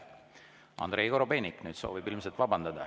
Andrei Korobeinik soovib nüüd ilmselt vabandada.